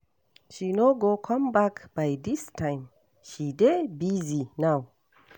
She no go come back by dis time. She dey busy now.